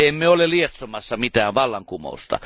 Emme ole lietsomassa mitään vallankumousta.